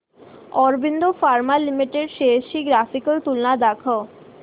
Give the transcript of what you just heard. Aurobindo pharma limited shares ची graphical तुलना दाखव